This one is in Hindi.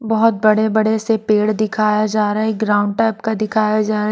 बहुत बड़े-बड़े से पेड़ दिखाया जा रहा है ग्राउंड टाइप का दिखाया जा रहा है।